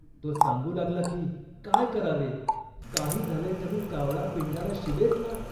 तो सांगू लागला की , "काय करावे. काही झाले तरी कावळा पिंडाला शिवेचना